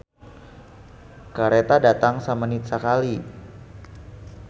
"Kareta datang samenit sakali"